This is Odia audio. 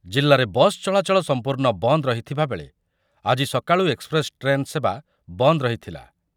ଜିଲ୍ଲାରେ ବସ୍ ଚଳାଚଳ ସମ୍ପୂର୍ଣ୍ଣ ବନ୍ଦ ରହିଥିବା ବେଳେ ଆଜି ସକାଳୁ ଏକ୍ସପ୍ରେସ୍‌ ଟ୍ରେନ୍ ସେବା ବନ୍ଦ ରହିଥିଲା ।